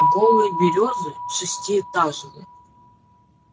голые берёзы шестиэтажные